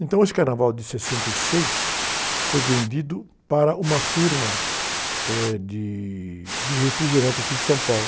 Então, esse Carnaval de sessenta e seis foi vendido para uma firma, eh, de, de refrigerante aqui de São Paulo.